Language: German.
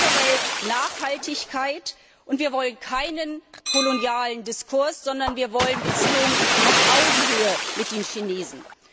Wir wollen generell Nachhaltigkeit, und wir wollen keinen kolonialen Diskurs, sondern wir wollen Beziehungen auf Augenhöhe mit den Chinesen.